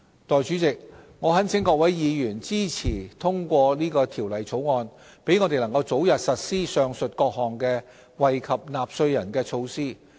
代理主席，我懇請各位議員支持通過《條例草案》，讓我們能早日實施上述各項惠及納稅人的措施。